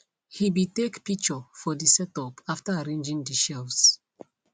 he be take picture for de setup after arranging de shelves